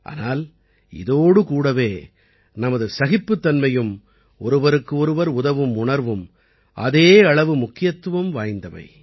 ஆனால் இதோடு கூடவே நமது சகிப்புத்தன்மையும் ஒருவருக்கு ஒருவர் உதவும் உணர்வும் அதே அளவு முக்கியத்துவம் வாய்ந்தவை